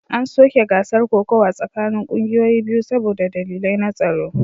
An soke gasar kokawa tsakanin kungiyoyi biyu saboda dalilai na tsaro